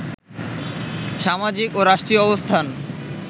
সামাজিক ও রাষ্ট্রীয় অবস্থান